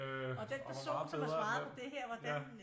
Øh og hvor meget bedre er